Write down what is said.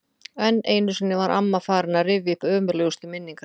Enn einu sinni var amma farin að rifja upp ömurlegustu minningar sínar.